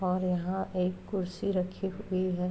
और यहाँ एक कुर्सी रही हुई है।